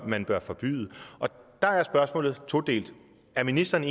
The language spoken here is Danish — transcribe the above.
man bør forbyde dér er spørgsmålet todelt er ministeren